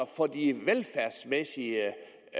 for de velfærdsmæssige